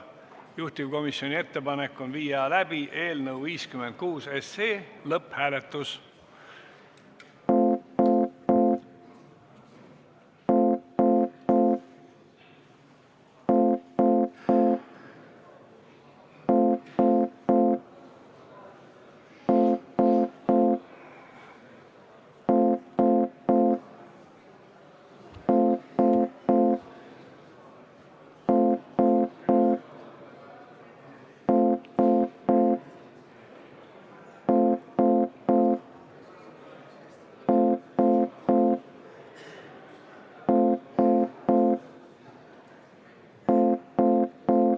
Juhtivkomisjoni ettepanek on viia läbi eelnõu 56 lõpphääletus.